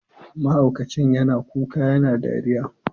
Mahaukacin yana kuka yana dariya.